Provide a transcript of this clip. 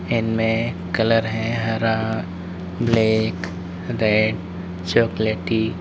इनमें कलर है हरा ब्लैक रेड चॉकलेटी --